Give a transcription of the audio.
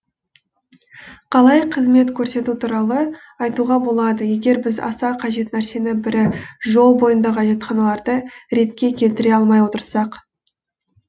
қалай қызмет көрсету туралы айтуға болады егер біз аса қажет нәрсенің бірі жол бойындағы әжетханаларды ретке келтіре алмай отырсақ